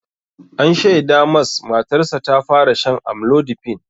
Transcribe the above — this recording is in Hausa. An shaida mas matarsa ta fara shan amlodipine.